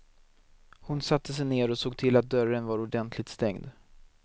Hon satte sig ner och såg till att dörren var ordentligt stängd.